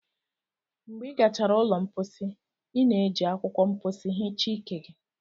Mgbe ị gachara ụlọ mposi, ị na-eji akwụkwọ mposi hichaa ike gị